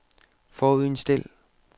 forudindstil